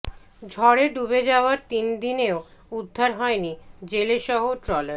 ঝড়ে ডুবে যাওয়ার তিন দিনেও উদ্ধার হয়নি জেলেসহ ট্রলার